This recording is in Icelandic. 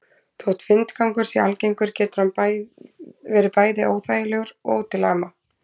Þótt vindgangur sé algengur getur hann verið bæði óþægilegur og til ama.